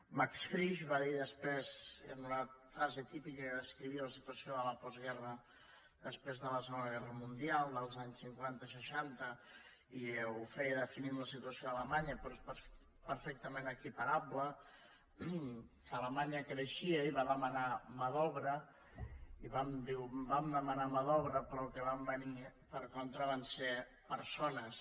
max frisch va dir després en una frase típica amb què descrivia la situació de la postguerra després de la se·gona guerra mundial als anys cinquanta i seixanta i ho feia definint la situació a alemanya però és perfec·tament equiparable que alemanya creixia i va dema·nar mà d’obra i diu vam demanar mà d’obra però el que va venir per contra van ser persones